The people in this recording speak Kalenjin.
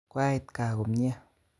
Koait gaa komie